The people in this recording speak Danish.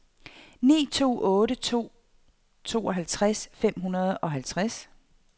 ni to otte to tooghalvtreds fem hundrede og halvtreds